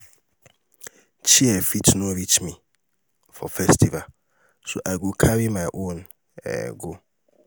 um chair fit no um reach me for festival so i go carry my own um go.